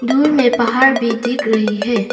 दूर में पहाड़ भी दिख रही है।